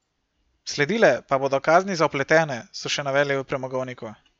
Sledile pa bodo kazni za vpletene, so še navedli v premogovniku.